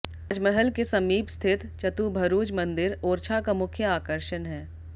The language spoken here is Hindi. राज महल के समीप स्थित चतुभरुज मंदिर ओरछा का मुख्य आकर्षण है